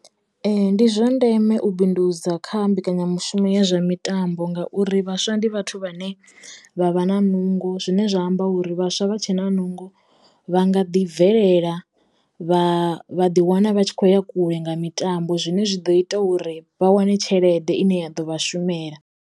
Ndi zwa ndeme u bindudza kha mbekanyamushumo ya zwa mitambo ngauri vhaswa ndi vhathu vhane vha vha na nungo zwine zwa amba uri vhaswa vha tshena nungo vha nga ḓi bvelela vha vha ḓi wana vha tshi khoya kule nga mitambo zwine zwi ḓo ita uri vha wane tshelede ine ya ḓo vhashumela.